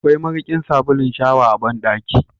Akwai mariƙin sabulun shawa a bandaki.